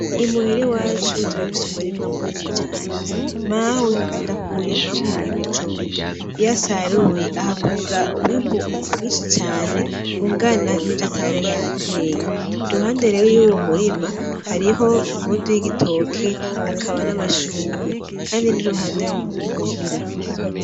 Imuhiri iwacu turafise umurima munini cane mawe akunda ku wurimamwo ibijumbu iyo asaruyi ahakura umwimbu mwinshi cane ungana ni vyo atari yahateye iruhande rero y'uwo murima hariho ingundu y'igitoke hakaba n'amashurwe, kandi niruhande y'imuhira.